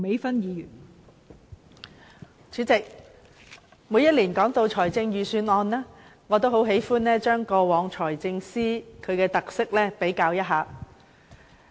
代理主席，每年就財政預算案進行辯論時，我都喜歡就過往數任財政司司長的特色作一比較。